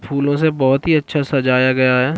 फूलों से बहुत ही अच्छा सजाया गया हैं।